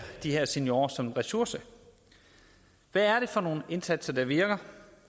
de her seniorer som en ressource hvad er det for nogle indsatser der virker